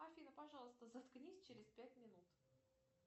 афина пожалуйста заткнись через пять минут